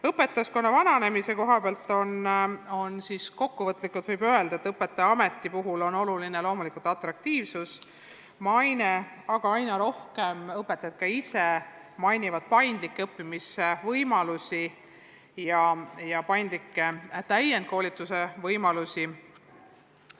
Õpetajaskonna vananemise kohta võib kokkuvõtlikult öelda, et õpetajaameti puhul on oluline loomulikult atraktiivsus, maine, aga aina rohkem õpetajad ise märgivad paindlikke õppimisvõimalusi, sh paindlikke täienduskoolituse võimalusi.